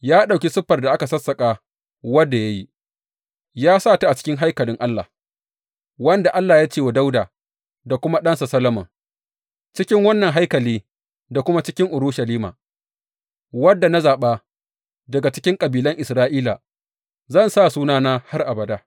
Ya ɗauki siffar da aka sassaƙa wadda ya yi, ya sa ta a cikin haikalin Allah, wanda Allah ya ce wa Dawuda da kuma ɗansa Solomon, Cikin wannan haikali da kuma cikin Urushalima, wanda na zaɓa daga cikin kabilan Isra’ila, zan sa Sunana har abada.